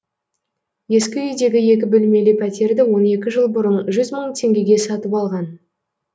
ескі үйдегі екі бөлмелі пәтерді он екі жыл бұрын жүз мың теңгеге сатып алған